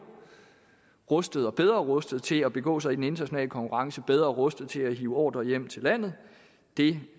rustet rustet til at begå sig i den internationale konkurrence og bedre rustet til at hive ordrer hjem til landet det